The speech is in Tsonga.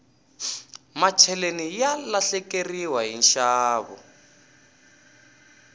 macheleni ya lahlekeriwa hi nxavo